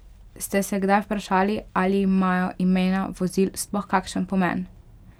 Ste se kdaj vprašali ali imajo imena vozil sploh kakšen pomen?